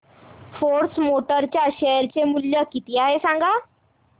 force Motors च्या share चे मूल्य किती आहे सांगा